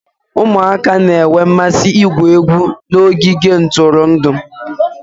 Ụmụaka na-enwe mmasị igwu egwu n'ogige ntụrụndụ